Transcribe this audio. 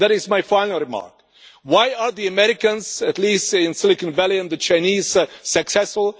And that is my final remark why are the Americans, at least in Silicon Valley, and the Chinese, successful?